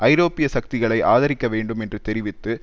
ஐரோப்பிய சக்திகளை ஆதரிக்க வேண்டும் என்று தெரிவித்து